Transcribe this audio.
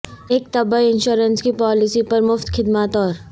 ایک طبی انشورنس کی پالیسی پر مفت خدمات اور